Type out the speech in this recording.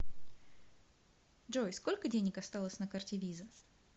джой сколько денег осталось на карте виза